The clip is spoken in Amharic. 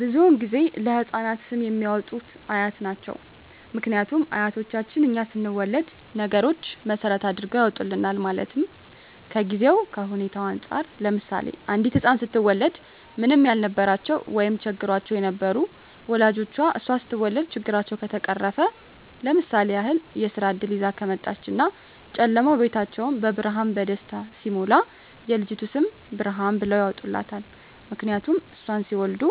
ብዙዉን ጊዜ ለህፃናት ስም የሚያወጡት አያት ናቸዉ ምክንያቱም አያቶቻችን እኛ ስንወለድ ነገሮች መሰረት አድርገዉ ያወጡልናል ማለትም ከጊዜዉ ከሁኔታዉ እንፃር ለምሳሌ አንዲት ህፃን ስትወለድ ምንም ያልነበራቸዉ ወይም ቸግሯቸዉ የነበሩ ወላጆቿ እሷ ስትወለድ ችግራቸዉ ከተፈቀረፈ ለምሳሌ ያክል የስራ እድል ይዛ ከመጣች እና ጨለማዉ ቤታቸዉ በብርሃን በደስታ ሲሞላ የልጅቱ ስም ብርሃን ብለዉ ያወጡላታል ምክንያቱም እሷን ሲወልዱ